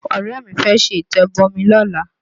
Ọ̀rẹ́ mi fẹ́ ṣe ìtẹ̀bọmi lọ́la